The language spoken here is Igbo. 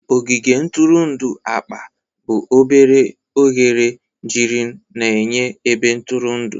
Ogige ntụrụndụ akpa bụ obere oghere girin na-enye ebe ntụrụndụ.